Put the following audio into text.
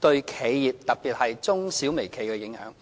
對企業，特別是中小微企的影響。